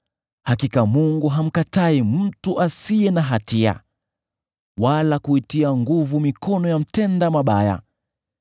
“Hakika Mungu hamkatai mtu asiye na hatia, wala kuitia nguvu mikono ya mtenda mabaya.